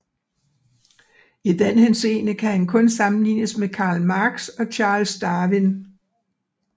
I den henseende kan han kun sammenlignes med Karl Marx og Charles Darwin